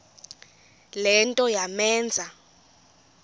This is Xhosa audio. le nto yamenza